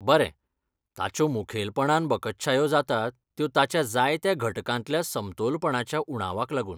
बरें, ताच्यो मुखेलपणान बकत्शायो जातात त्यो ताच्या जायत्या घटकांतल्या समतोलपणाच्या उणावाक लागून.